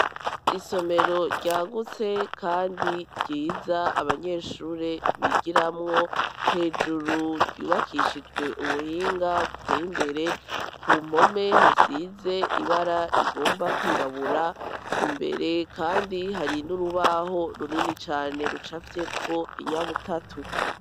Isomero ryagutse kandi ryiza abanyeshure bigiramwo hejuru ryubakishijwe ubuhinga buteye imbere ku mpome hasize ibara rigomba kwirabura imbere kandi hari n'urubaho runini cane rucafyeko inyabutatu.